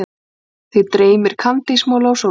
Þig dreymir kandísmola og sólskin.